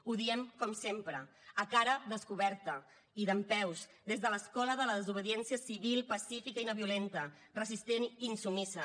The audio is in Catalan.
ho diem com sempre a cara descoberta i dempeus des de l’escola de la desobediència civil pacífica i no violenta resistent i insubmisa